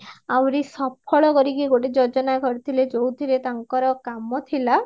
ଆହୁରି ସଫଳ କରିକି ଗୋଟେ ଯୋଜନା କରିଥିଲେ ଯୋଉଥିରେ ତାଙ୍କର କାମ ଥିଲା